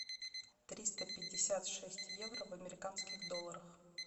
триста пятьдесят шесть евро в американских долларах